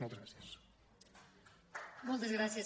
moltes gràcies